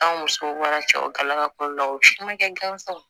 An musow mana cɛlakaw la u ye siman kɛ gansan yew